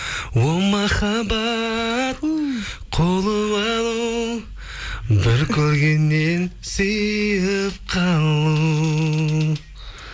о махаббат қуып алу бір көргеннен сүйіп қалу